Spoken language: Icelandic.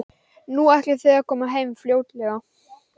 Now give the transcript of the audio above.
Nú, ætlið þið að koma heim fljótlega?